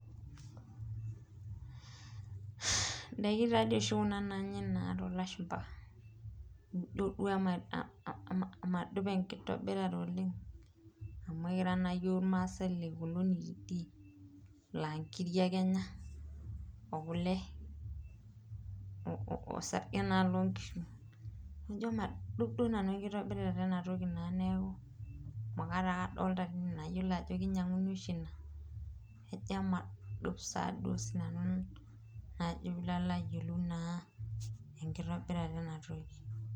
Ndaiki taadi oshi kuna naanyae toolashumba ,ore duo amu madup enkitobirata oleng amu ekira naa hyiok irmaasai lekononi teidie laa nkiri ake enya ,okule orsarge naa loonkishu ,naijo madup naa nanu enkitobirata ena toki neeku ,emulate ake nanu adolita nayiolo ajo keinyanguni oshi ina naa ijo naa emadup oshi nanu enkitobirata ina toki.